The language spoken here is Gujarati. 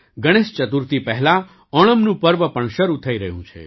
ગણેશ ચતુર્થી પહેલા ઓણમનું પર્વ પણ શરૂ થઈ રહ્યું છે